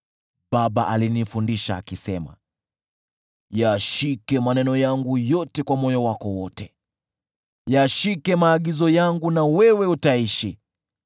baba alinifundisha akisema, “Yashike maneno yangu yote kwa moyo wako wote; yashike maagizo yangu na wewe utaishi.